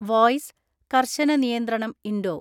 (voice) കർശന നിയന്ത്രണം Indo